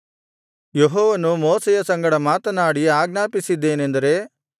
ಯೆಹೋವನು ಮೋಶೆಯ ಸಂಗಡ ಮಾತನಾಡಿ ಆಜ್ಞಾಪಿಸಿದ್ದೇನೆಂದರೆ